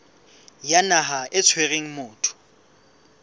ya naha e tshwereng motho